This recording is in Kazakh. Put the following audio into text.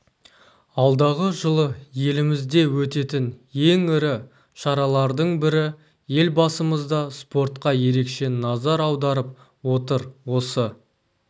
алдағы жылы елімізде өтетін ең ірі шаралардың бірі елбасымыз да спортқа ерекше назар аударып отыр осы